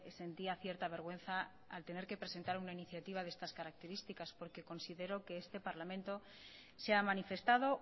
sentía cierta vergüenza al tener que presentar una iniciativa de estas características porque considero que este parlamento se ha manifestado